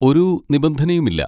ഒരു നിബന്ധനയും ഇല്ല.